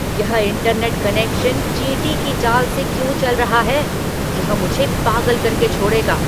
यह internet connection चींटी की चाल से क्यों चल रहा है? यह मुझे पागल करके छोड़ेगा!